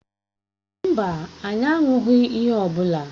Mba, anyị aṅụghị ihe ọ bụla.